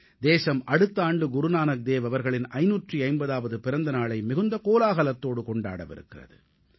தேசம் அடுத்த ஆண்டு குருநானக் தேவ் அவர்களின் 550ஆவது பிறந்த நாளை மிகுந்த கோலாகலத்தோடு கொண்டாடவிருக்கிறது